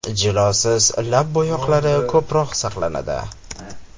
Jilosiz lab bo‘yoqlari ko‘proq saqlanadi.